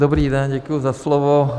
Dobrý den, děkuji za slovo.